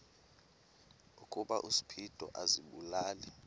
ukuba uspido azibulale